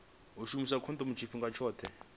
u shumisa khondomo tshifhinga tshoṱhe